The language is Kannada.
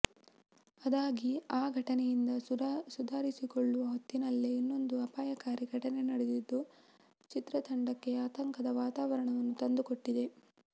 ಅದಾಗಿ ಆ ಘಟನೆಯಿಂದ ಸುಧಾರಿಸಿಕೊಳ್ಳುವ ಹೊತ್ತಿನಲ್ಲೇ ಇನ್ನೊಂದು ಅಪಾಯಕಾರಿ ಘಟನೆ ನಡೆದಿದ್ದು ಚಿತ್ರತಂಡಕ್ಕೆ ಆತಂಕದ ವಾತಾವರಣವನ್ನು ತಂದುಕೊಟ್ಟಿದೆ